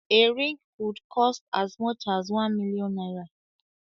A ring could cost as much as one million naira